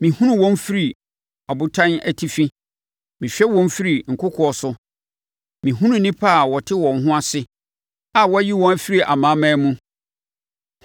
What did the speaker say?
Mehunu wɔn firi abotan atifi; mehwɛ wɔn firi nkokoɔ so. Mehunu nnipa a wɔte wɔn ho ase, a wɔayi wɔn afiri amanaman mu.